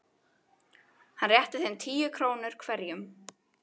Hann rétti þeim tíu krónur hverjum.